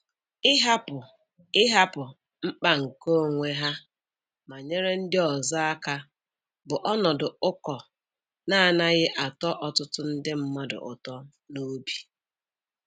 Ịhapụ Ịhapụ mkpa nke onwe ha ma nyere ndị ọzọ aka bụ ọnọdụ ụkọ na-anaghị atọ ọtụtụ ndị mmadụ ụtọ n'obi